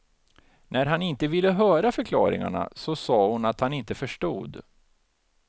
När han inte ville höra förklaringarna så sa hon att han inte förstod.